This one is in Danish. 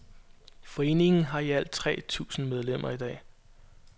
Foreningen har i alt tre tusind medlemmer i dag.